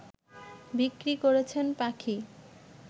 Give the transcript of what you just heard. বিক্রি করছেন পাখি